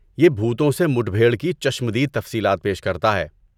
یہ بھوتوں سے مڈبھیڑ کی چشم دید تفصیلات پیش کرتا ہے۔